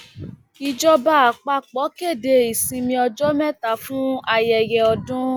ìjọba àpapọ kéde ìsinmi ọjọ mẹta fún ayẹyẹ ọdún